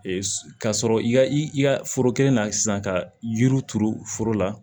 ka sɔrɔ i ka i ka foro kelen na sisan ka yiri turu foro la